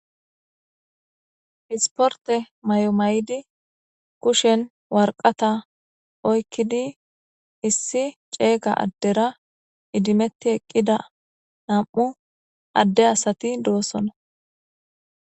Issiporite mayo mayidi kusheni waraqataa oyikidi issi cegga adera idimti eqida namu ade asati deosoona